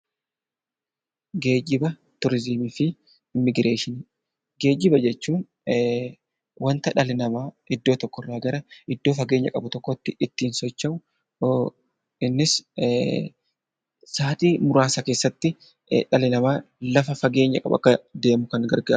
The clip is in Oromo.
Geejjiba, Turiizimii fi Immigireeshinii Geejjiba jechuun wanta dhalli namaa iddoo tokko irraa gara iddoo fageenya qabu tokkoo tti ittiin socho'u. Innis sa'atii muraasa keessatti dhalli namaa lafa fageenya qabu akka deemu kan gargaaru dha.